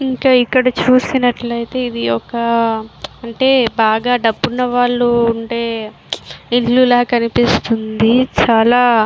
ఇంకా ఇక్కడ చూసినట్లయితే ఇది ఒక అంటే బాగా డబ్బున్న వాళ్ళు ఉండే ఇల్లు ల కనిపిస్తుంది. చాలా --